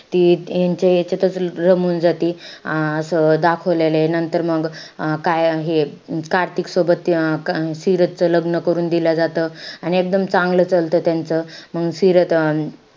ती ह्यांच्या यांच्यातच रमून जाती. अं असं दाखवलेलंय. नंतर मंग अं काय हे कार्तिक सोबत अं सिरतचं लग्न करून दिलं जातं. अन एकदम चांगलं चालतं त्यांचं. मंग सिरत अं